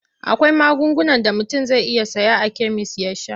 Akwai magungunan da mutum zai iya saya a kemis ya sha.